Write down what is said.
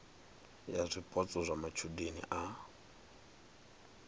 ya zwipotso zwa matshudeni a